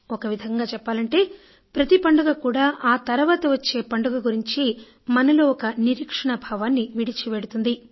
ఒక విధంగా చెప్పాలంటే ప్రతి పండుగ కూడా ఆ తర్వాత వచ్చే పండుగ గురించి మనలో ఒక నిరీక్షణా భావాన్ని విడిచిపెడుతుంది